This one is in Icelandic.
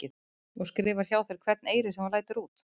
Og skrifar hjá þér hvern eyri sem þú lætur úti?